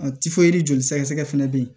A joli sɛgɛsɛgɛ fɛnɛ bɛ yen